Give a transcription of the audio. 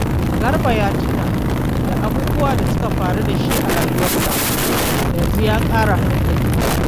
Garba ya tuna da abubuwan da suka faru da shi a rayuwarsa, yanzu ya ƙara hankali.